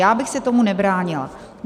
Já bych se tomu nebránila.